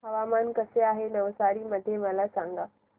हवामान कसे आहे नवसारी मध्ये मला सांगा